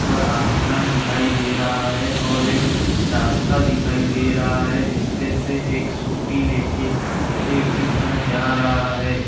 उपर आसमान दिखाई दे रहा है और एक रास्ता दिखाई दे रहा है। जिसपे से एक स्कूटी लेके एक इंसान जा रहा है।